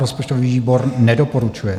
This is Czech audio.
Rozpočtový výbor nedoporučuje.